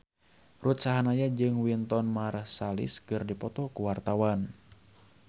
Ruth Sahanaya jeung Wynton Marsalis keur dipoto ku wartawan